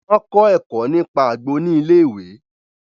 Wọn kọ ẹkọ nípa àgbo ni ilé-ìwé